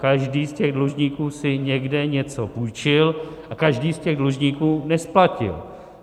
Každý z těch dlužníků si někde něco půjčil a každý z těch dlužníků nesplatil.